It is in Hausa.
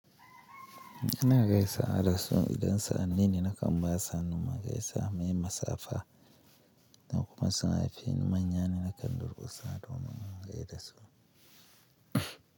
Ina gaisawa dasu idan sa'anni ne na kam basu, hannu mu gaisa mai masafaha, idan kuma suna haifi manya ne na kan durƙusa domin in gai da su.